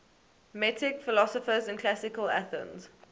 metic philosophers in classical athens